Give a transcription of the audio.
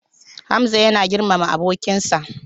Hamza yana girmama abokinsa.